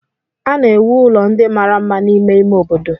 A na-ewu ụlọ ndị mara mma n'ime ime obodo.